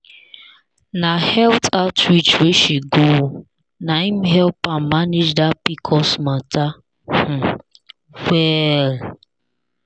na health outreach wey she go na him help her manage that pcos matter um well.